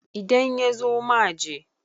idan ya zo ma je!